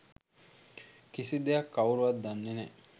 කිසිදෙයක් කවුරුවත් දන්නෙ නෑ